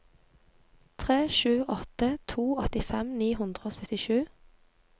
tre sju åtte to åttifem ni hundre og syttisju